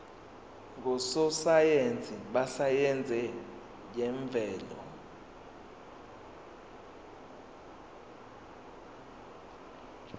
ngososayense besayense yemvelo